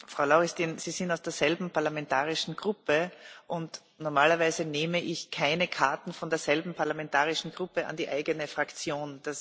Frau Lauristin, Sie sind aus derselben parlamentarischen Gruppe und normalerweise nehme ich keine blaue Karte von derselben parlamentarischen Gruppe an die eigene Fraktion.